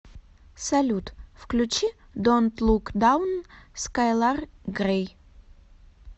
салют включи донт лук даун скайлар грэй